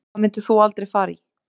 Hvað myndir þú aldrei fara í